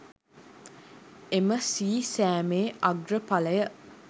එම සී සෑමේ අග්‍රඵලය